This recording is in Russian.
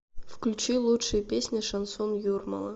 включи лучшие песни шансон юрмала